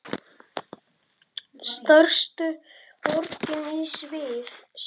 Stærstu borgir í Sviss